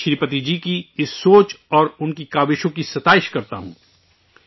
میں، شری پتی جی کی اس سوچ اور ان کی کوششوں کی تعریف کرتا ہوں